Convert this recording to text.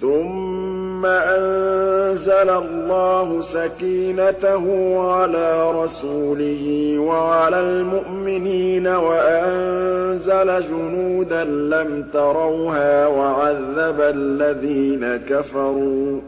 ثُمَّ أَنزَلَ اللَّهُ سَكِينَتَهُ عَلَىٰ رَسُولِهِ وَعَلَى الْمُؤْمِنِينَ وَأَنزَلَ جُنُودًا لَّمْ تَرَوْهَا وَعَذَّبَ الَّذِينَ كَفَرُوا ۚ